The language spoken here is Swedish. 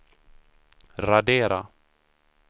radera